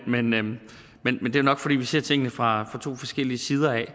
men men det er nok fordi vi ser tingene fra to forskellige sider af